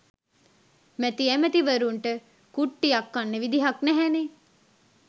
මැති ඇමති වරුන්ට කුට්ටියක් කන්න විදිහක් නැහැනෙ